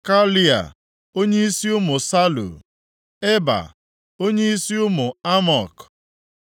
Kalai, onyeisi ụmụ Salu; Eba, onyeisi ụmụ Amok,